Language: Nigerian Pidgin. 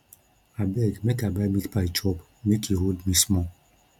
abeg make i buy meatpie chop make e hold me small